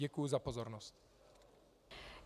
Děkuji za pozornost.